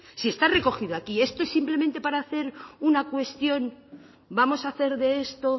si está recogido aquí esto es simplemente para hacer una cuestión vamos a hacer de esto